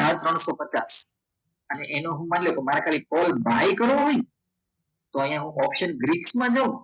આ ત્રણસો પચાસ હવે એનો માની લો કે મારે ખાલી buy કરવો હોય ને તો હું ઓપ્શનમાં જાવ ને